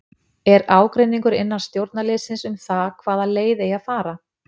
Er ágreiningur innan stjórnarliðsins um það hvaða leið eigi að fara?